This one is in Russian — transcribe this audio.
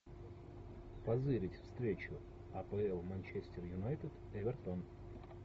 позырить встречу апл манчестер юнайтед эвертон